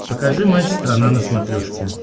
покажи матч страна на смотрешке